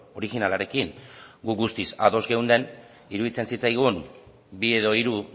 originalarekin gu guztiz ados geunden iruditzen zitzaigun bi edo hiru